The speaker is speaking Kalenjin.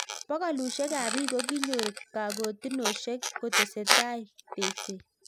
Bokolushek ab bik kokinyor kakotenoshek kotesetai tekset.